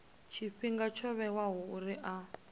tshifhinga tsho vhewaho uri a